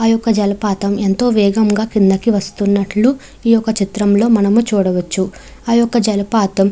ఆ యొక్క జలపాతం ఎంతో వేగముగా కిందకి వస్తున్నట్లు ఈ యొక్క చిత్రంలో మనము చూడవచ్చు ఆ యొక్క జలపాతం --